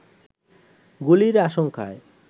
গুলির আশঙ্কায়